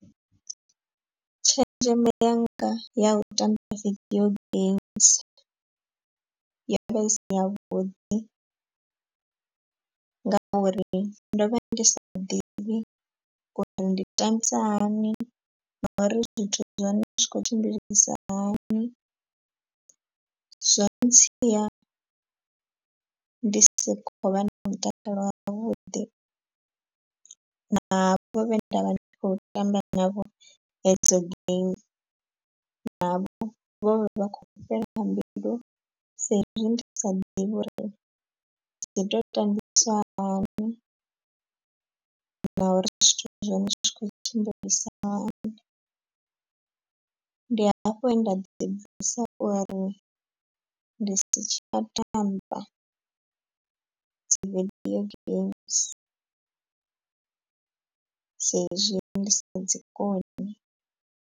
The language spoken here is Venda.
Tshenzhemo yanga ya u tamba video games yo vha i si yavhuḓi. Ngauri ndo vha ndi sa ḓivhi uri ndi tambisa hani nori zwithu zwa hone zwi khou tshimbilisa hani. Zwa ntsia ndi si khou vha na mutakalo wavhuḓi na havho vhe nda vha ndi khou tamba navho hedzo game navho vho vha vha khou fhela mbilu. Sa hezwi ndi sa ḓivhi uri zwi to tambiswa hani na uri zwithu zwa hone zwi tshi khou tshimbilisa hani. Ndi hafho he nda ḓi dzi bvisa uri ndi si tsha tamba dzi video games sa ezwi ndi sa dzi koni.